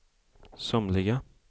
somliga